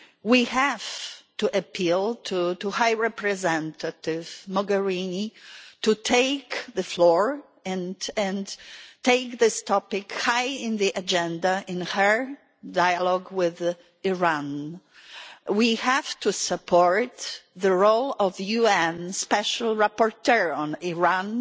We have to appeal to High Representative Mogherini to take the floor and put this topic high in the agenda in her dialogue with Iran. We have to support the role of the UN Special Rapporteur on Iran